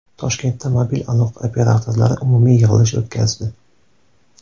Toshkentda mobil aloqa operatorlari umumiy yig‘ilish o‘tkazdi.